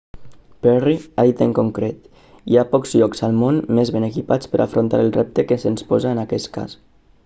perry ha dit en concret hi ha pocs llocs al món més ben equipats per a afrontar el repte que se'ns posa en aquest cas